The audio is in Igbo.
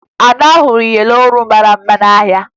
Ada hụrụ iyeri olu mara mma n'ahịa